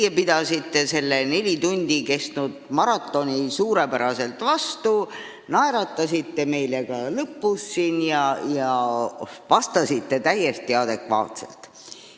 Te pidasite selle neli tundi kestnud maratoni suurepäraselt vastu: naeratasite meile ka siin lõpus ja vastasite täiesti adekvaatselt.